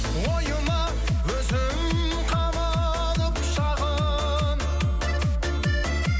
ойыма өзім қамалып шағын